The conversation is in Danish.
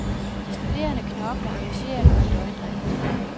De studerende knokler, engageret og i døgndrift.